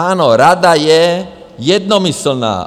Ano, Rada je jednomyslná.